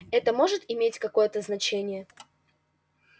это может иметь какое-то значение